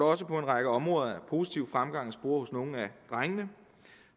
også på en række områder er positiv fremgang at spore hos nogle af drengene